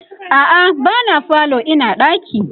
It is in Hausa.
a'a ba na falo Ina ɗaki